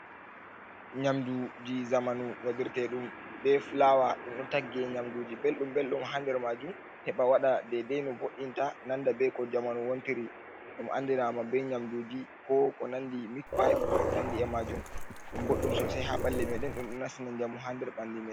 Nyamduuji zamanu, waɗirteeɗum be fulawa. Ɗum ɗo tagge nyamduuji belɗum- belɗum haa nder maajum, heɓa waɗa dedai no vo'inta nanda be ko jamanu wontiri. Ɗum andinaama be nyamduuji ko ko nandi mik-payp, ko ko nandi e maajum. Ɗum boɗɗum sosai haa ɓalli meɗen, ɗum ɗo nassina njamu haa nder ɓandu mai.